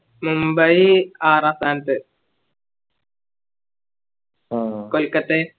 മുംബൈ ആറാം സ്ഥാനത്ത് കൊൽക്കത്തെ